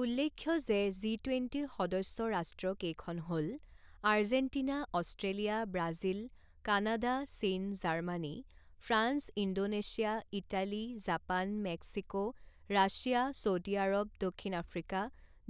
উল্লেখ্য যে, জি টুৱেণ্টিৰ সদস্য ৰাষ্ট্ৰ কেইখন হ'ল আৰ্জেণ্টিনা, এষ্ট্ৰেলিয়া, ব্ৰাজিল, কানাডা, চীন, Germany, France, Indonesia, Italy, Japan, Mexico, Russia, Saudi Arab, দক্ষিণ আফ্ৰিকা,